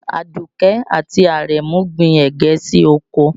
Àdùkẹ́ àti Àrẹ̀mú gbin ẹ̀gẹ́ sí oko